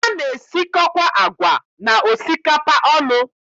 A na-esikọkwa agwa na osikapa ọnụ.